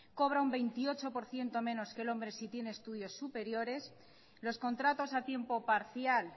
cobra un veintiocho por ciento menos que el hombre si tiene estudios superiores los contratos a tiempo parcial